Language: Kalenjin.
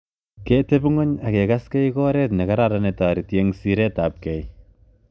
Ketepinguny akekasgei ko oret ne kararan ne toreti ing siret ap kei.